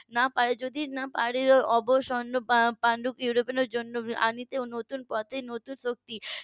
না পারে যদি না পারেও অবসন্ন . নতুন পথে নতুন লোকটি